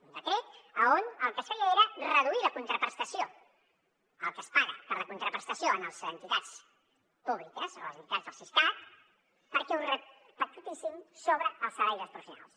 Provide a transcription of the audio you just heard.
un decret on el que es feia era reduir la contraprestació el que es paga per la contraprestació a les entitats públiques a les entitats del siscat perquè ho repercutissin sobre els salaris dels professionals